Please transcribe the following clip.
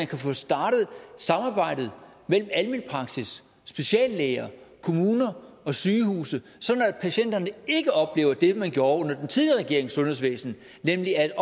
kan få startet samarbejdet mellem almen praksis speciallæger kommuner og sygehuse sådan at patienterne ikke oplever det man gjorde under den tidligere regerings sundhedsvæsen nemlig at